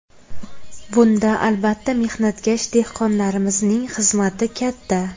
Bunda, albatta, mehnatkash dehqonlarimizning xizmati katta.